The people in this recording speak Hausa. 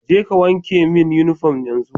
Je ka wanke min uniform yanzu